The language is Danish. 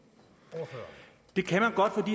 at det